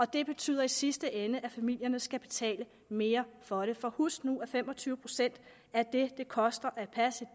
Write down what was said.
det betyder i sidste ende at familierne skal betale mere for det for husk nu at fem og tyve procent af det det koster at passe